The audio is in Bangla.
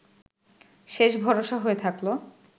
শেষ ভরসা হয়ে থাকল